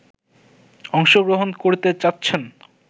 অংশগ্রহণ করতে চাচ্ছেন